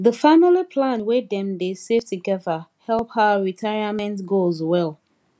the family plan wey dem dey save together help her retirement goals well